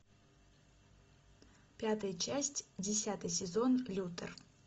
пятая часть десятый сезон лютер